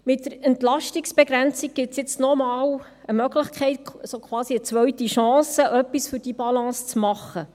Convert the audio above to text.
Mit der Entlastungsbegrenzung gibt es jetzt noch einmal eine Möglichkeit, so quasi eine zweite Chance, etwas für diese Balance zu tun.